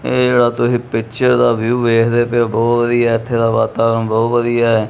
ਇਹ ਜਿਹੜਾ ਤੁਹੀ ਪਿੱਚਰ ਦਾ ਵਿਊ ਵੇਖਦੇ ਪਏ ਔ ਬਹੁਤ ਵਧੀਆ ਐ ਇੱਥੇ ਦਾ ਵਾਤਾਵਰਨ ਬਹੁਤ ਵਧੀਆ ਐ।